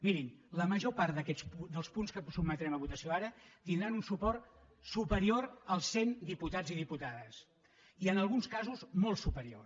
mirin la major part dels punts que sotmetrem a votació ara tindran un suport superior als cent diputats i diputades i en alguns casos molt superior